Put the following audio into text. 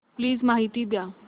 please माहिती द्या